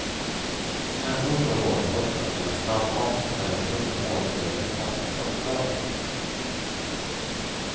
Ändå står valet ofta mellan snabbmat eller sunda måltider på fasta klockslag.